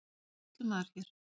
Er sýslumaður hér?